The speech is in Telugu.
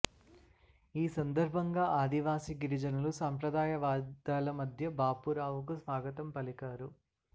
ఈ సందర్భంగా ఆదివాసీ గిరిజనులు సంప్రదాయ వాయిద్యాల మధ్య బాపురావుకు స్వాగతం పలికారు